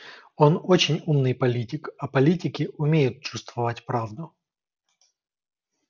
он очень умный политик а политики умеют чувствовать правду